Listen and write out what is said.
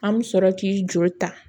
An bɛ sɔrɔ k'i joli ta